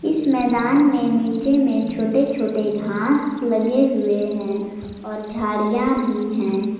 इस मैदान में नीचे में छोटे छोटे घांस लगे हुए हैं और झाड़ियां भी हैं।